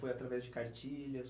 Foi através de cartilhas?